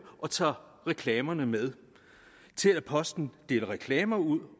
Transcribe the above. og tager reklamerne med til at postbuddet deler reklamer ud